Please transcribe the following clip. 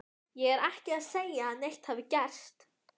Ég er ekki að segja að neitt hafi gerst.